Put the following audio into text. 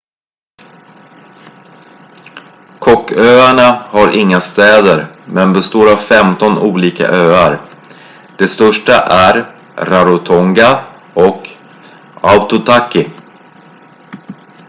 cooköarna har inga städer men består av 15 olika öar de största är rarotonga och aitutaki